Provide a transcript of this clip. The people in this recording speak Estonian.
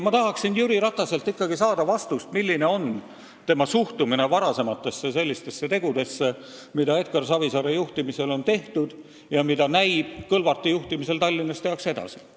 Ma tahaksin ikkagi saada Jüri Rataselt vastust, milline on tema suhtumine sellistesse varasematesse tegudesse, mida Edgar Savisaare juhtimisel on tehtud ja mille puhul näib, et neid tehakse Tallinnas Kõlvarti juhtimisel edasi.